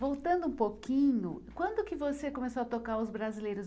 Voltando um pouquinho, quando que você começou a tocar os brasileiros?